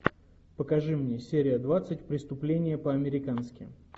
покажи мне серия двадцать преступление по американски